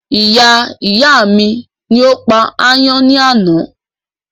Iyá ìyá mi ni ó pa ayán ní àná